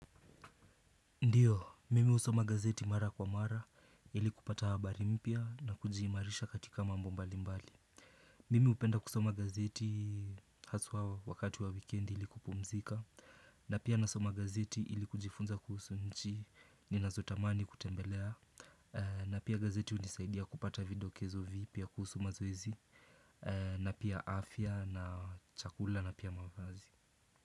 Ndiyo, mimi husoma gazeti mara kwa mara, ili kupata habari mpya na kujiimarisha katika mambo mbali mbali. Mimi upenda kusoma gazeti haswa wakati wa wikendi ili kupumzika. Na pia nasoma gazeti ili kujifunza kuhusu nchi, ni nazotamani kutembelea. Na pia gazeti unisaidia kupata vidokezo vipya kuhusu mazoizi. Na pia afya na chakula na pia mavazi.